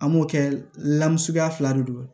An b'o kɛ lamu suguya fila de don